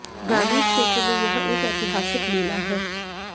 ग्रामीण क्षेत्र में यह एक ऐतिहासिक मेला है